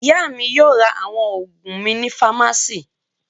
Ìyá mi yóò ra àwọn òògùn mi ní fámásíì.